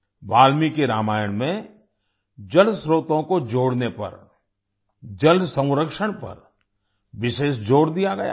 वाल्मीकि रामायण में जल स्त्रोतों को जोड़ने पर जल संरक्षण पर विशेष जोर दिया गया है